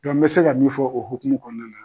n bɛ se ka min fɔ o hokumu kɔɔna na